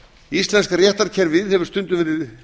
íslenska réttarkerfinu hefur stundum verið